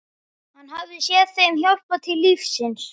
Hann hafði séð þeim hjálpað til lífsins.